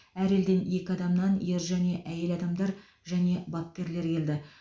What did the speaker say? әр елден екі адамнан ер және әйел адамдар және бапкерлер келді